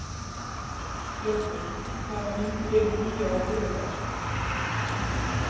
Ljótur, hvaða myndir eru í bíó á þriðjudaginn?